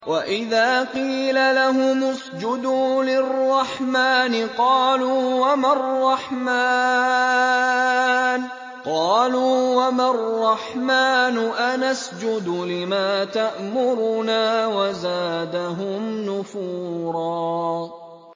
وَإِذَا قِيلَ لَهُمُ اسْجُدُوا لِلرَّحْمَٰنِ قَالُوا وَمَا الرَّحْمَٰنُ أَنَسْجُدُ لِمَا تَأْمُرُنَا وَزَادَهُمْ نُفُورًا ۩